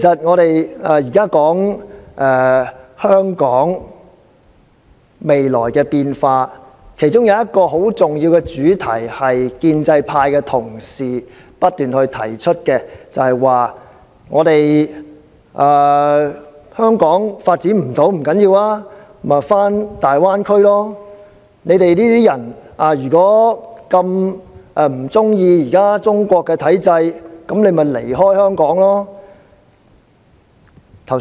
我們現在說香港未來的變化，其中一個很重要的主題，也就是建制派同事不斷提到的，就是若我們不能在香港發展，也不要緊，可以返回大灣區生活；如果我們這些人不喜歡中國的體制，可以選擇離開香港。